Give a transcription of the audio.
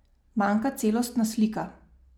Manjka celostna slika.